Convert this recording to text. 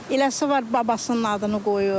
Eləsi var babasının adını qoyur.